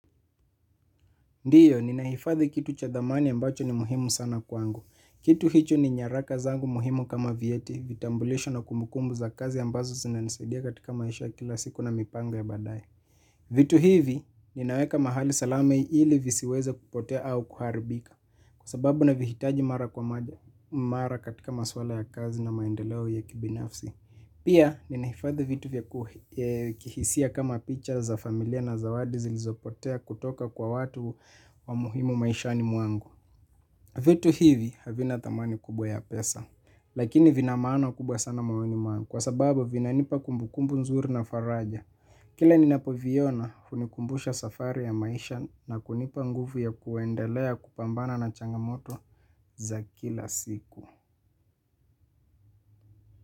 Ndiyo, ninaifadhi kitu cha dhamani ambacho ni muhimu sana kwangu. Kitu hicho ni nyaraka zangu muhimu kama vieti, vitambulisho na kumbukumbu za kazi ambazo zinanisaidia katika maisha ya kila siku na mipango ya badaye. Vitu hivi, ninaweka mahali salama ili visiweze kupotea au kuharibika, kwa sababu navihitaji mara kwa mara katika maswala ya kazi na maendeleo ya kibinafsi. Pia ninaifadhi vitu vya kuhisia kama picha za familia na zawadi zilizopotea kutoka kwa watu wa muhimu maishani mwangu. Vitu hivi havina dhamani kubwa ya pesa. Lakini vina maana kubwa sana moyoni mwangu kwa sababu vinanipa kumbukumbu nzuri na faraja. Kila ninapoviona hunikumbusha safari ya maisha na kunipa nguvu ya kuendelea kupambana na changamoto za kila siku.